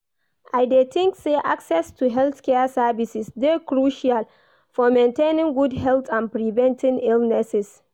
I dey think say access to healthcare services dey crucial for maintaining good health and preventing illnesses.